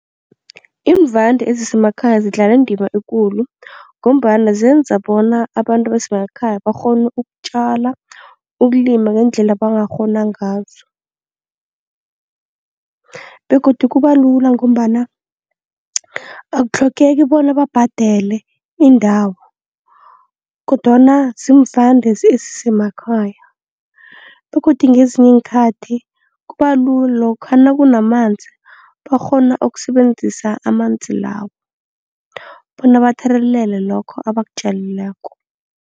Iimvande ezisemakhaya zidlala indima ekulu ngombana zenza bona abantu abasemakhaya bakghone ukutjala, ukulima ngendlela abangakghona ngazo. Begodu kuba lula ngombana akutlhogeki bona babhadele iindawo kodwana ziimvande ezisemakhaya begodu ngezinye iinkhathi kubalula lokha nakunamanzi bakghone ukusebenzisa amanzi lawo bona bathelelele lokho ebakutjalileko.